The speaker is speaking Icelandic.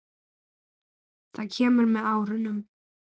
Það kemur með árunum.